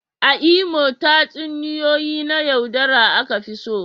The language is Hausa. A Imo, tatsuniyoyi na yaudara aka fi so.